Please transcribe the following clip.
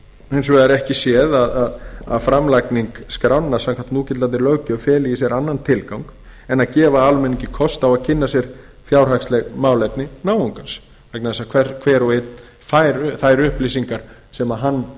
hins vegar ekki séð að framlagning skránna samkvæmt núgildandi löggjöf feli í sér annan tilgang en að gefa almenningi kost á að kynna sér fjárhagsleg málefni náungans vegna þess að hver og einn fær þær upplýsingar sem hann